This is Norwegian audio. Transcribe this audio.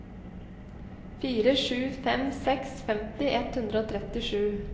fire sju fem seks femti ett hundre og trettisju